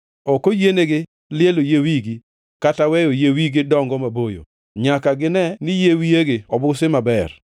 “ ‘Ok oyienigi lielo yie wigi kata weyo yie wigi dongo maboyo, to nyaka gine ni yier wiyegi obusi maber.